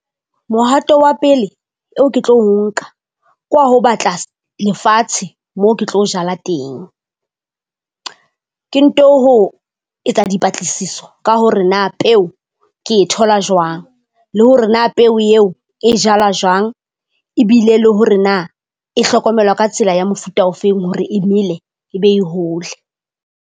Mohato wa pele eo ke tlo nka kwa ho batla lefatshe moo ke tlo jala teng. Ke nto ho etsa dipatlisiso ka hore na peo ke e thola jwang, le hore na peo eo e jalwa jwang. Ebile le hore na e hlokomelwa ka tsela ya mofuta ofeng hore e mele e be e hole.